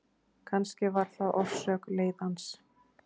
Kannski var það orsök leiðans.